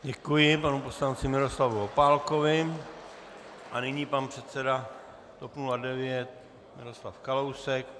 Děkuji panu poslanci Miroslavu Opálkovi a nyní pan předseda TOP 09 Miroslav Kalousek.